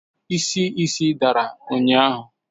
Isi isi dara ụnyahụ?